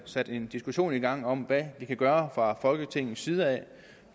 sat en diskussion i gang om hvad vi kan gøre fra folketingets side